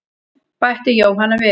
Bætti Jóhanna við.